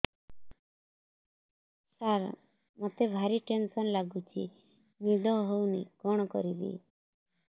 ସାର ମତେ ଭାରି ଟେନ୍ସନ୍ ଲାଗୁଚି ନିଦ ହଉନି କଣ କରିବି